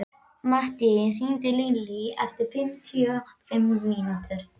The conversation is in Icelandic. Mattý, hringdu í Lilý eftir fimmtíu og fimm mínútur.